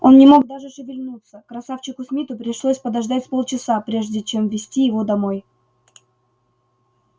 он не мог даже шевельнуться красавчику смиту пришлось подождать с полчаса прежде чем вести его домой